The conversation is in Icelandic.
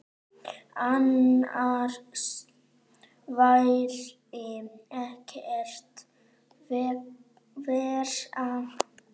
Annars væri ekkert verra.